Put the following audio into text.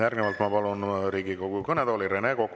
Järgnevalt ma palun Riigikogu kõnetooli Rene Koka.